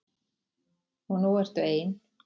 Og nú ertu ein.